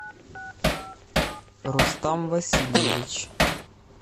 рустам васильевич